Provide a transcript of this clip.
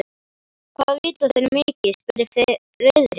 Hvað vita þeir mikið? spurði Friðrik.